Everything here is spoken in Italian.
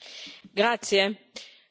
Signor Presidente, onorevoli colleghi,